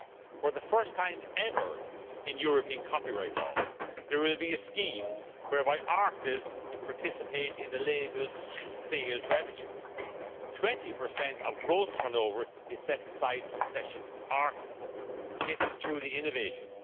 For the first time ever in European copyright laws there will be a scheme whereby artists participate in the labels' sales revenue 20 of gross turnover is set aside for session artists. This is truly innovative.